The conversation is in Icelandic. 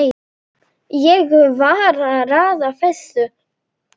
Ég var að raða þessu